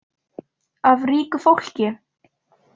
Af ríku fólki?